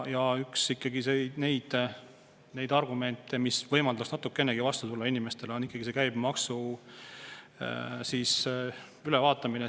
Ja ikkagi üks natukenegi inimestele vastu tulla on see käibemaksu ülevaatamine.